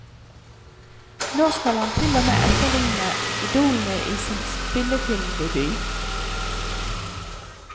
Nå skal han til og med etterligne idolene i sin spillefilmdebut.